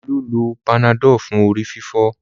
Olú lo panadol fún ẹ̀fọ́rí rẹ̀